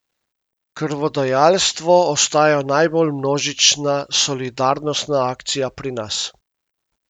Krvodajalstvo ostaja najbolj množična solidarnostna akcija pri nas.